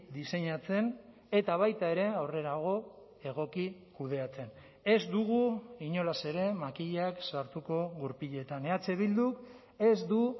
diseinatzen eta baita ere aurrerago egoki kudeatzen ez dugu inolaz ere makilak sartuko gurpiletan eh bilduk ez du